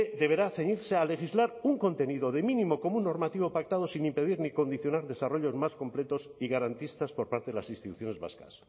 deberá ceñirse a legislar un contenido mínimo común normativo pactado sin impedir ni condicionar desarrollos más completos y garantistas por parte de las instituciones vascas